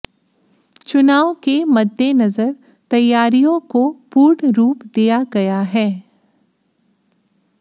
चुनाव के मद्देनजर तैयारियों को पूर्ण रूप दिया गया है